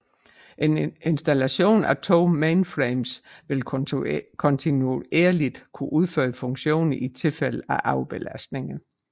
En installation af to mainframes vil kontinuerligt kunne udføre funktioner i tilfælde af overbelastninger